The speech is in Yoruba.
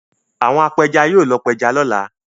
Àwọn apẹja yóò lọ pẹja lọ́la.